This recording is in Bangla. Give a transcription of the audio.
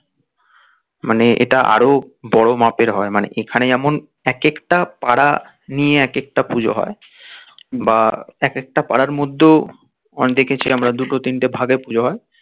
মানে এটা আরো বোরো মাপের হয় মানে এখানে যেমন এক একটা পাড়া নিয়ে এক একটা পুজো হয় বা এক একটা পাড়ার মধ্যে ও অনেক দেখেছি দুটো তিনটে ভাগে পুজো হয়